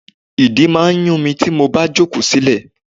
Ìdí máa ń yun mi tí mo bá jókòó silẹ.